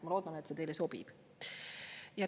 Ma loodan, et see teile sobib.